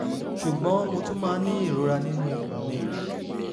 ṣùgbọ́n mo tún máa ń ní ìrora nínú ikùn mi